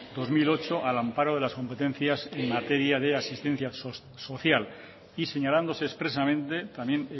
dos mil ocho al amparo de las competencias en materia de asistencia social y señalándose expresamente también